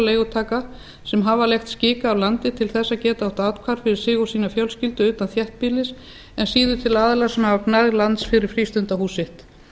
leigutaka sem hafa leigt skika af landi til að geta átt athvarf fyrir sig og sína fjölskyldu utan þéttbýlis en síður til aðila sem hafa gnægð lands fyrir frístundahús sitt